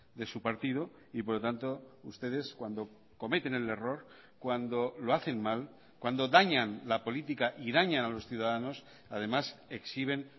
de su partido y por lo tanto ustedes cuando cometen el error cuando lo hacen mal cuando dañan la política y dañan a los ciudadanos además exhiben